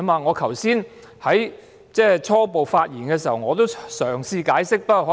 我剛才在開場發言時已嘗試解釋。